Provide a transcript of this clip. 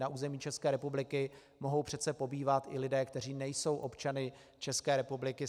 Na území České republiky mohou přece pobývat i lidé, kteří nejsou občany České republiky.